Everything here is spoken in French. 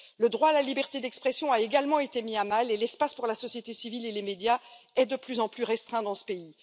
Le droit à la liberté d'expression a également été mis à mal et l'espace pour la société civile et les médias est de plus en plus restreint dans ce pays.